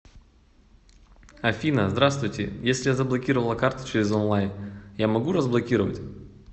афина здравствуйте если я заблокировала карту через онлай я могу разблокировать